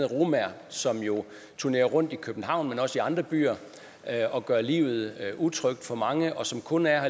romaer som jo turnerer rundt i københavn men også i andre byer og gør livet utrygt for mange og som kun er